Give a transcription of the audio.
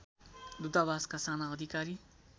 दूतावासका साना अधिकारी